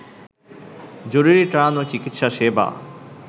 জরুরী ত্রাণ ও চিকিৎসা সেবা